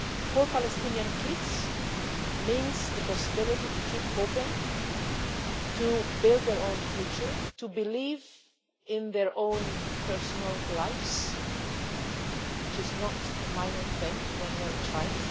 For Palestinian kids, this means the possibility to keep hoping, to build their own future, and to believe in their own personal lives which is no minor thing when you are a child